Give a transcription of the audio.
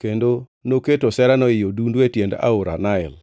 kendo noketo oserano ei odundu e tiend aora Nael.